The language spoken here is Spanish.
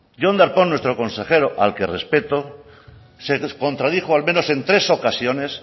jon darpón nuestro consejero al que respeto se contradijo al menos en tres ocasiones